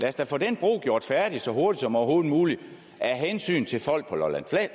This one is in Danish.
os da få den bro gjort færdig så hurtigt som overhovedet muligt af hensyn til folk på lolland